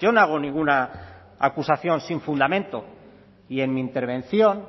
yo no hago ninguna acusación sin fundamento y en mi intervención